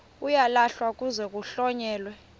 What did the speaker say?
uyalahlwa kuze kuhlonyelwe